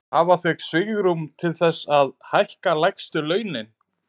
Hafa þau svigrúm til þess að hækka lægstu launin?